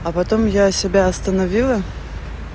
а потом я себя остановила